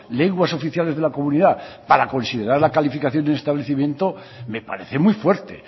lenguas oficiales de la comunidad para considerar la calificación de establecimiento me parece muy fuerte